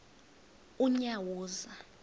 unyawuza